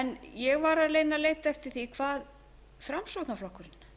ég var að reyna að leita eftir því hvað framsóknarflokkurinn